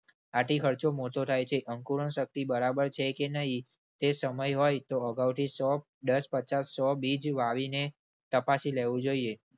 આથી ખર્ચો મોટો થાય છે અંકુરણશક્તિ બરાબર છે કે નહિ તે સમય હોય તો અગાઉથી સો દસ પચાસ સો બીજ વાવીને તપાસી લેવું જોઈએ.